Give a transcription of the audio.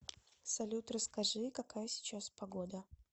салют расскажи какая сейчас погода